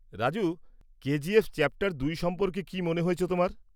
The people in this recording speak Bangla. রাজু, কেজিএফ চ্যাপটার ২ সম্পর্কে কী মনে হয়েছে তোমার?